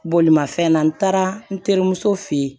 Bolimafɛn na n taara n terimuso fɛ yen